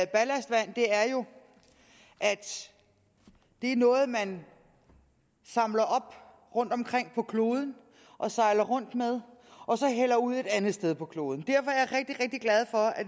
ballastvand er jo at det er noget man samler op rundtomkring på kloden og sejler rundt med og så hælder ud i et andet sted på kloden derfor er rigtig glad for at